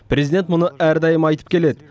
президент мұны әрдайым айтып келеді